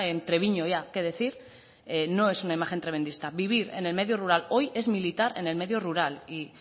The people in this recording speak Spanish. en treviño ya que decir no es una imagen tremendista vivir en el medio rural hoy es militar en el medio rural y